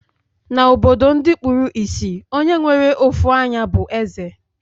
Na obodo ndi kpuru isì, Onye nwere ofu anyá bu eze